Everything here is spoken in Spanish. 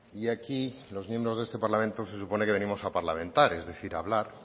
y aquí los miembros de este parlamento se supone que venimos a parlamentar es decir a hablar